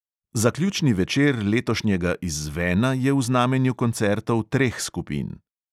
Zaključni večer letošnjega izzvena je v znamenju koncertov treh skupin.